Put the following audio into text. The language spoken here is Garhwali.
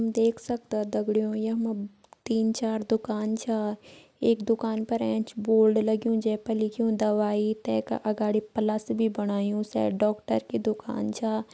हम देख सक्दों दगड़ियों यमु तीन चार दुकान छा एक दुकान पर एंच बोर्ड लग्युं जै पर लिख्युं दवाई तै का अगाड़ी प्लस भी बणायु शायद डॉक्टर की दुकान छ।